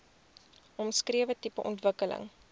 omskrewe tipe ontwikkeling